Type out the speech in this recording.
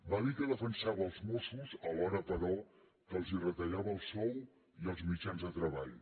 va dir que defensava els mossos alhora però que els retallava el sou i els mit·jans de treball